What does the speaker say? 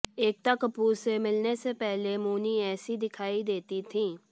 एकता कपूर से मिलने से पहले मौनी ऐसी दिखाई देती थी